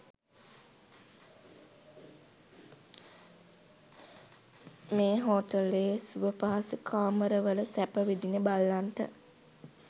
මේ හෝටලයේ සුවපහසු කාමරවල සැප විඳින බල්ලන්ට